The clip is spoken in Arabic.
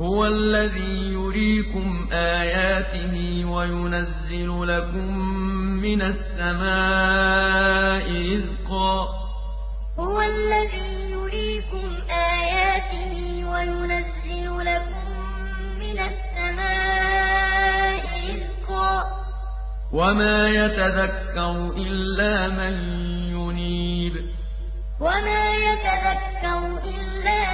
هُوَ الَّذِي يُرِيكُمْ آيَاتِهِ وَيُنَزِّلُ لَكُم مِّنَ السَّمَاءِ رِزْقًا ۚ وَمَا يَتَذَكَّرُ إِلَّا مَن يُنِيبُ هُوَ الَّذِي يُرِيكُمْ آيَاتِهِ وَيُنَزِّلُ لَكُم مِّنَ السَّمَاءِ رِزْقًا ۚ وَمَا يَتَذَكَّرُ إِلَّا